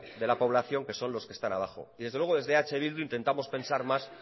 de la población que son los que están abajo y desde luego desde eh bildu intentamos pensar más